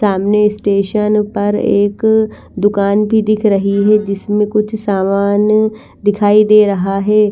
सामने स्टेशन पर एक दुकान भी दिख रही है जिसमें कुछ सामान दिखाई दे रहा है।